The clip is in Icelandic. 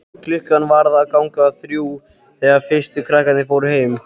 Klukkan var að ganga þrjú þegar fyrstu krakkarnir fóru heim.